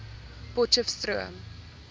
potcheftsroom